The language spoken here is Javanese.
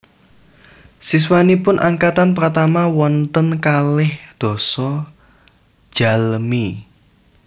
Siswanipun angkatan pratama wonten kalih dasa jalmi